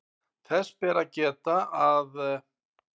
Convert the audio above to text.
Þess ber að geta að